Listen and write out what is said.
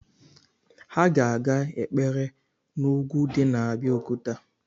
Anyị ga-aga ekpere n’ugwu di n’ Abeokuta